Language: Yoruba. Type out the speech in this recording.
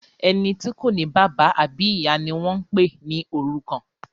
Ẹní tí o ní bàbá àbí ìyá ní wón pè ní òrùkan.